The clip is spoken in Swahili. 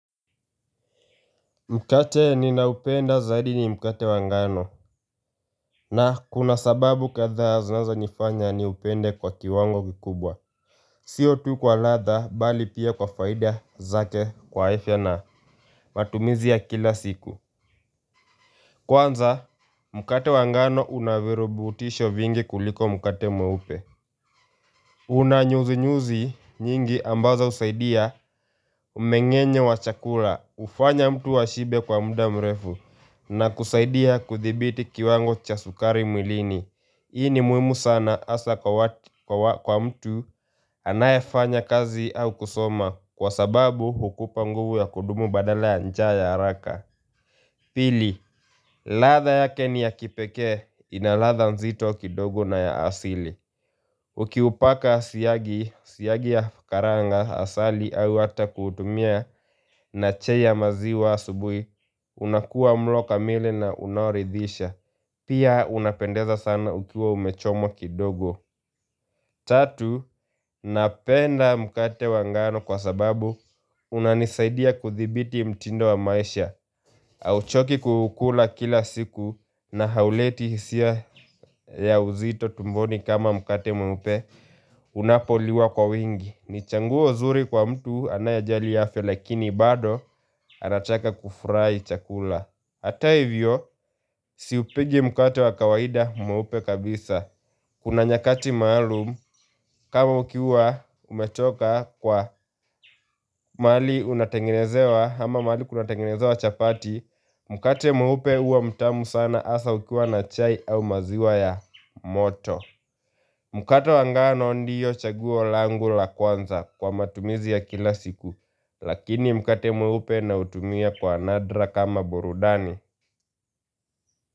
Mkate ninaupenda zaidi ni mkate wa ngano. Na kuna sababu kadhaa zinazo nifanya niupende kwa kiwango kikubwa. Sio tu kwa radha bali pia kwa faida zake kwa afya na matumizi ya kila siku. Kwanza mkate wa ngano una virubutisho vingi kuliko mkate mweupe. Una nyuzi nyuzi nyingi ambaza usaidia umengenye wa chakula ufanya mtu wa shibe kwa muda mrefu na kusaidia kuthibiti kiwango cha sukari mwilini Hii ni muhimu sana hasa kwa mtu anayefanya kazi au kusoma kwa sababu hukupa nguvu ya kudumu badala ya njaa ya haraka Pili radha yake ni ya kipeke ina radha nzito kidogo na ya asili Ukiupaka siagi ya karanga asali au hata kutumia na chai ya maziwa asubui, unakuwa mlo kamili na unaoridhisha. Pia unapendeza sana ukiwa umechomo kidogo. Tatu, napenda mkate wa ngano kwa sababu unanisaidia kuthibiti mtindo wa maisha hauchoki kuukula kila siku na hauleti hisia ya uzito tumboni kama mkate mupe unapoliwa kwa wingi ni chaguo zuri kwa mtu anayejali afya lakini bado anachaka kufurahi chakula Hata hivyo, siupigi mkate wa kawaida mweupe kabisa Kuna nyakati maalum, kama ukiwa umetoka kwa mali unatengenezewa ama mali kunatengenezewa chapati, mkate mweupe uwa mtamu sana asa ukiwa na chai au maziwa ya moto. Mkate wa ngano ndio chaguo langu la kwanza kwa matumizi ya kila siku, lakini mkate mweupe na utumia kwa nadra kama burudani.